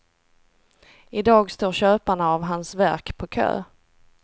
Idag står köparna av hans verk på kö.